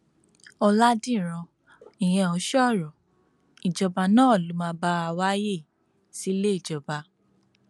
ọlàdíràn ìyẹn ò sọrọ ìjọba náà ló máa bá a wá ààyè síléejọba